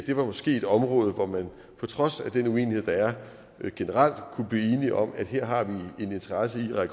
det måske er et område hvor vi på trods af den uenighed der er generelt kunne blive enige om at vi her har en interesse i at